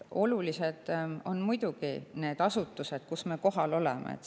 Olulised on muidugi need asutused, kus me kohal oleme.